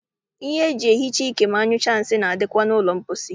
Ihe eji ehicha ike ma anyụsịa nsị na-adịkwa na ụlọ mposi.